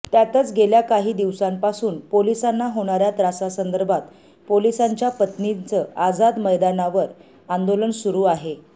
त्यातच गेल्या काही दिवसांपासून पोलिसांना होणाऱ्या त्रासासंदर्भात पोलिसांच्या पत्नींचं आझाद मैदानावर आंदोलन सुरु आहे